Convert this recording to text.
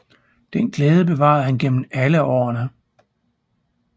Den glæde bevarede han gennem alle årene